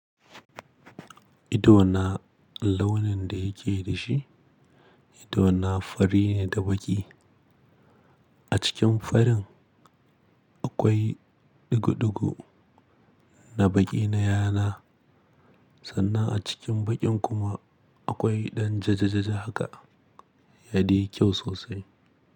Idona launin da yake da shi, idona fari ne da baƙi. A cikin farin akwai ɗigo-ɗigo na baƙi na yana, sannan a cikin baƙin kuma akwai ɗan jajjajaja haka. Ya dai yi kyau sosai.